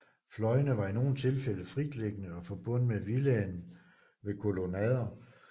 Fløjene var i nogle tilfælde fritliggende og forbundet med villaen ved kolonnader